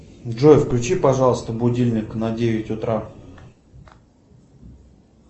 джой включи пожалуйста будильник на девять утра